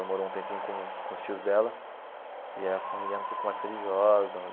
Ela morou um tempinho com o com os tios dela e a família era um pouco mais religiosa.